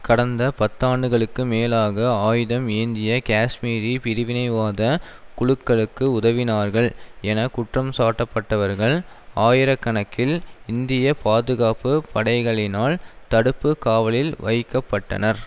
கடந்த பத்தாண்டுகளுக்கு மேலாக ஆயுதம் ஏந்திய கேஷ்மீரி பிரிவினைவாதக் குழுக்களுக்கு உதவினார்கள் என குற்றம் சாட்டப்பட்டவர்கள் ஆயிர கணக்கில் இந்திய பாதுகாப்பு படைகளினால் தடுப்பு காவலில் வைக்க பட்டனர்